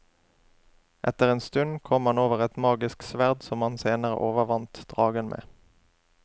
Etter en stund kom han over et magisk sverd som han senere overvant dragen med.